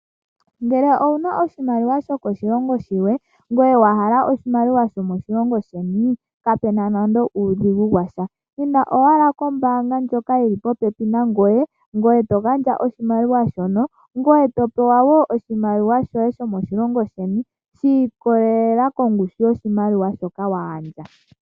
Ngele owuna oshimaliwa sho koshilongo shilwe ngoye wahala oshimaliwa shomoshilongo sheni kapuna nande uudhigu washa . Inda owala kombaanga ndjoka yili popepi nangoye ngoye to gandja oshimaliwa shono, ngoye topewa woo oshimaliwa shoye ahomoshilongo sheni shi ikolelela kongushu yoshimaliwa shoka wa hala.